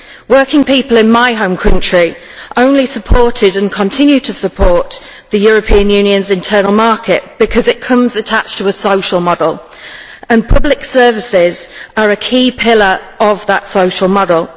Working people in my home country only supported and continue to support the European Union's internal market because it comes attached to a social model, and public services are a key pillar of that social model.